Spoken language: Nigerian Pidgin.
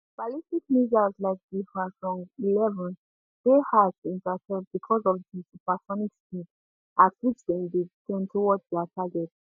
ballistic missiles like di hwasong11 dey hard to intercept because of di supersonic speed at which dem dey descend towards dia target